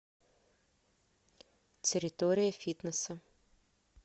территория фитнеса